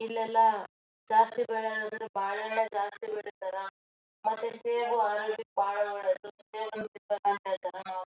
ಇಲ್ಲಿ ಎಲ್ಲ ಜಾಸ್ತಿ ಬೆಲೆ ಅಂದ್ರ ಬಾಳೆ ಹಣ್ಣೆ ಬಹಳ ಜಾಸ್ತಿ ಬೆಳೀತಾರ ಮತ್ತೆ ಸೇಬು ಆರೋಗ್ಯಕ್ಕೆ ಬಹಳ ಒಳ್ಳೆಯದು